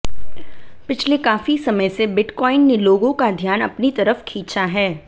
पिछले काफी समय से बिटकॉइन ने लोगों का ध्यान अपनी तरफ खींचा है